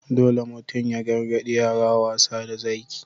Dole mutum ya gargadi yara wasa da Zaki.